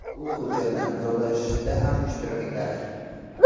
U hujjatni imzolashda ham ishtirok etadi.